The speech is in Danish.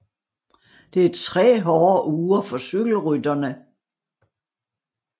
Det er 3 hårde uger for cykelrytterne